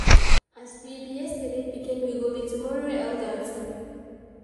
As we be yesterday pikin, we go be tomorrow elder too.